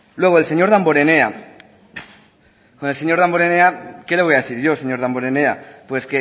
luego el señor damborenea con el señor damborenea qué le voy a decir yo señor damborenea pues